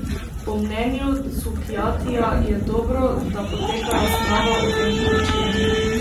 Po mnenju Cukjatija je dobro, da poteka razprava o tem poročilu.